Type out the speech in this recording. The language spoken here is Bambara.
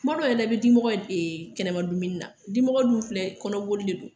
Tuma dɔw la yɛrɛ i bɛ dimɔgɔ ye kɛnɛma dumuni na dimɔgɔ dun filɛ kɔnɔboli de don